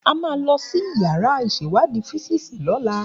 A máa lọ sí yàrá ìṣèwádìí físíìsì lọ́la